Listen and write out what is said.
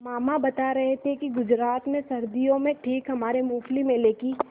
मामा बता रहे थे कि गुजरात में सर्दियों में ठीक हमारे मूँगफली मेले की